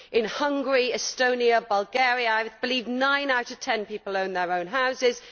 In Hungary, Estonia, and Bulgaria I believe nine out of 10 people own their own houses